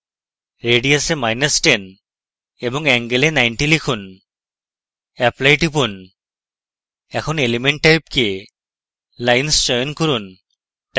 radius এ10 এবং angle এ 90 লিখুন apply টিপুন এখন element type কে lines চয়ন করুন